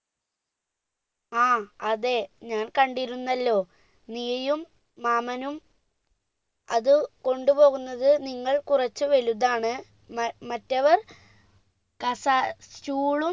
ആ അതെ ഞാൻ കണ്ടിരുന്നല്ലോ നീയും രാമനും അത് കൊണ്ടുപോകുന്നത് നിങ്ങൾ കുറച്ച് വലുതാണ് മ മറ്റവർ കസ stool ളും